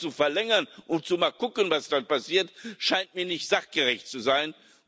Einfach nur zu verlängern und mal zu gucken, was dann passiert, scheint mir nicht sachgerecht zu sein.